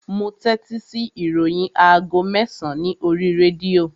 Mo tẹ́tí sí ìròyìn aago mẹ́sàn-án ní oríi rédíò